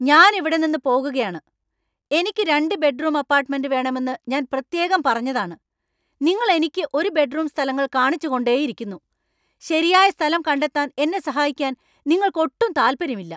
ഞാൻ ഇവിടെ നിന്ന്പോകുകയാണ് . എനിക്ക് രണ്ട് ബെഡ്‌റൂം അപ്പാർട്ട്‌മെന്റ് വേണമെന്ന് ഞാൻ പ്രത്യേകം പറഞ്ഞതാണ് , നിങ്ങൾ എനിക്ക് ഒരു ബെഡ്‌റൂം സ്ഥലങ്ങൾ കാണിച്ച്‌ കൊണ്ടേയിരിക്കുന്നു . ശരിയായ സ്ഥലം കണ്ടെത്താൻ എന്നെ സഹായിക്കാൻ നിങ്ങൾക്ക് ഒട്ടും താൽപ്പര്യമില്ല.